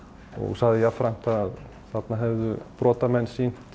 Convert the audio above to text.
sagði jafnframt að þarna hefðu brotamenn sýnt